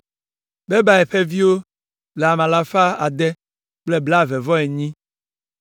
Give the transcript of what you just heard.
Bebai ƒe viwo le ame alafa ade kple blaeve-vɔ-enyi (628).